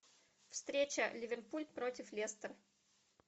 встреча ливерпуль против лестер